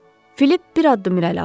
Filip bir addım irəli atdı.